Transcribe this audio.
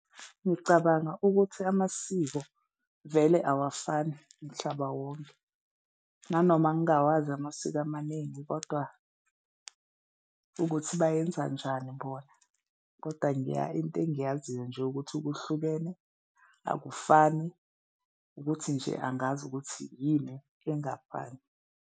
Ngicabanga ukuthi amasiko vele awafani mhlaba wonke nanoma ngingawazi amasiko amaningi kodwa ukuthi bayenza njani bona kodwa into engiyaziyo nje ukuthi kuhlukene akufani, ukuthi nje angazi ukuthi yini engafani.